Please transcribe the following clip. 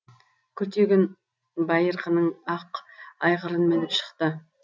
күлтегін байырқының ақ айғырын мініп шықты